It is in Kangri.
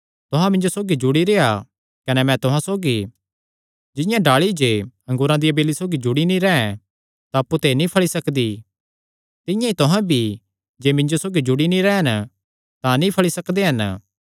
तुहां मिन्जो सौगी जुड़ी रेह्आ कने मैं तुहां सौगी जिंआं डाल़ी जे अंगूरा दी बेली सौगी जुड़ी नीं रैंह् तां अप्पु ते नीं फल़ी सकदी तिंआं ई तुहां भी जे मिन्जो सौगी जुड़ी नीं रैह़न तां नीं फल़ी सकदे हन